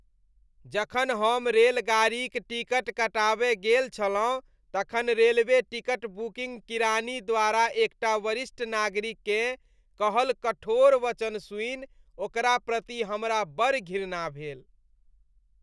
जखन हम रेलगाड़ीक टिकट कटाबय गेल छलहुँ तखन रेलवे टिकट बुकिंग किरानी द्वारा एकटा वरिष्ठ नागरिककेँ कहल कठोर वचन सुनि ओकरा प्रति हमरा बड़ घृणा भेल।